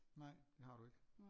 Nej det har du ikke